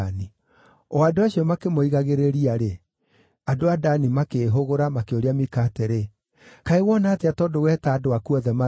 O andũ acio makĩmoigagĩrĩria-rĩ, andũ a Dani makĩĩhũgũra makĩũria Mika atĩrĩ, “Kaĩ wona atĩa tondũ weta andũ aku othe marũe?”